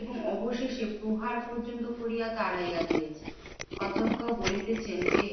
এবং অবশেষে প্রহার পর্যন্ত করিয়া তাড়াইয়া দিয়াছি। অধক্ষ বলিতেছেন যে,